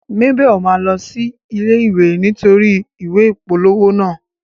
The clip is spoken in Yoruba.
Mabel ma lọ sí ilé ìwé nítorí ìwé ìpolówó naa.